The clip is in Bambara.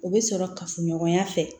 O bɛ sɔrɔ kafoɲɔgɔnya fɛ